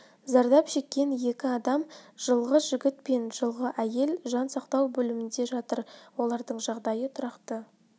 зардап шеккен екі адам жылғы жігіт пен жылғы әйел жан сақтау бөлімінде жатыр олардың жағдайы тұрақты